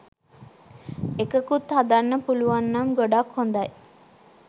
එකකුත් හදන්න පුලුවන්නම් ගොඩක් හොදයි.